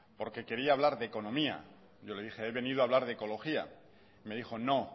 porque quería hablar de economía yo le dije he venido a hablar de ecología me dijo no